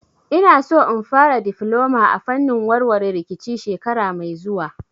Ina so in fara difloma a fannin warware rikici shekara mai zuwa